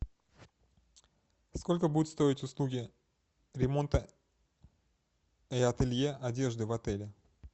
сколько будут стоить услуги ремонта и ателье одежды в отеле